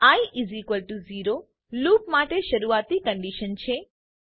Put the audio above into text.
I 0 loop માટે શરુઆતની condition છે